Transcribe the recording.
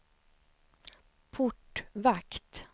portvakt